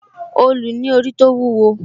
òòlù ní orí tó wúwo